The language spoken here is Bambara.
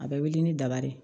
A bɛ wili ni daba de ye